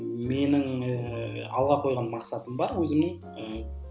менің ііі алға қойған мақсатым бар өзімнің ііі